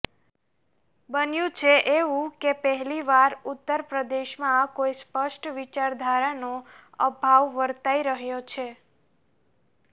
બન્યું છે એવું કે પહેલીવાર ઉત્તર પ્રદેશમાં કોઈ સ્પષ્ટ વિચારધારાનો અભાવ વરતાઈ રહ્યો છે